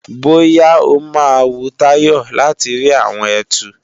Bóyá ó máa wu Táyọ̀ láti rí àwọn ẹtu